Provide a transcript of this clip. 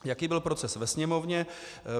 Jaký byl proces ve Sněmovně?